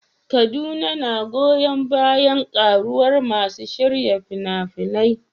Kaduna na goyon bayan ƙaruwar masu shirya fina-finai.